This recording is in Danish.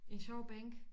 En sjov bænk